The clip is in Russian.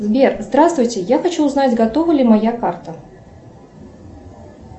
сбер здравствуйте я хочу узнать готова ли моя карта